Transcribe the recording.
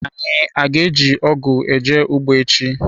Anyi ga-eji ogu eje ugbo echi.